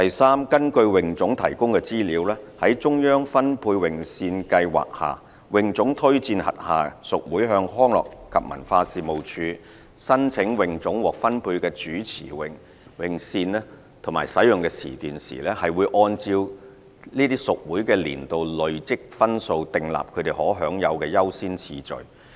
三根據泳總提供的資料，在中央分配泳線計劃下，泳總推薦轄下屬會向康樂及文化事務署申請泳總獲分配的主泳池泳線和使用時段時，會按照這些屬會的年度累積分數訂立他們可享有的優先次序。